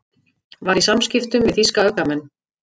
Var í samskiptum við þýska öfgamenn